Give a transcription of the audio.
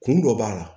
Kun dɔ b'a la